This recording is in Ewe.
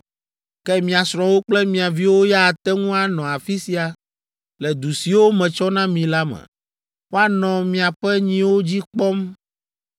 Ke mia srɔ̃wo kple mia viwo ya ate ŋu anɔ afi sia le du siwo metsɔ na mi la me; woanɔ miaƒe nyiwo dzi kpɔm